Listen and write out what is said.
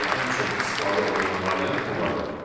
yəni ən çox istifadə olunan variant bu variantdır.